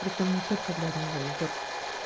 притом не только для одного егорки